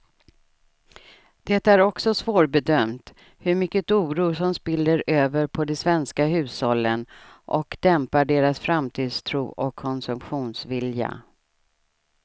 Det är också svårbedömt hur mycket oro som spiller över på de svenska hushållen och dämpar deras framtidstro och konsumtionsvilja.